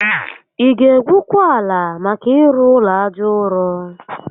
Ị ga egwukwa ala maka ịrụ ụlọ aja ụrọ?